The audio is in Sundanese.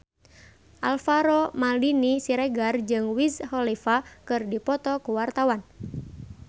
Alvaro Maldini Siregar jeung Wiz Khalifa keur dipoto ku wartawan